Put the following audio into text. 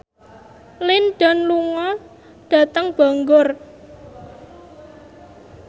Lin Dan lunga dhateng Bangor